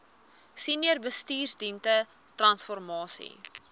senior bestuursdienste transformasie